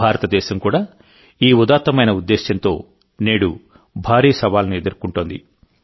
భారతదేశం కూడాఈ ఉదాత్తమైన ఉద్దేశ్యంతో నేడుభారీ సవాలును ఎదుర్కొంటోంది